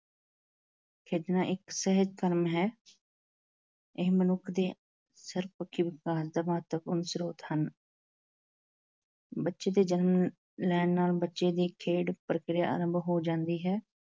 ਖੇਡਣਾ ਇੱਕ ਸਿਹਤ ਕਰਮ ਹੈ ਇਹ ਮਨੁੱਖ ਦੇ ਸਰਬ-ਪੱਖੀ ਵਿਕਾਸ ਦਾ ਮਹੱਤਵਪੂਰਨ ਸਰੋਤ ਹਨ ਬੱਚੇ ਦੇ ਜਨਮ ਅਮ ਲੈਣ ਨਾਲ ਬੱਚੇ ਦੀ ਖੇਡ-ਪ੍ਰਕਿਰਿਆ ਆਰੰਭ ਹੋ ਜਾਂਦੀ ਹੈ